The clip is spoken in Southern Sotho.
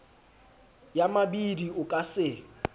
ya mabidi o ka se